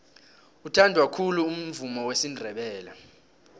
uthandwa khulu umvumo wesindebele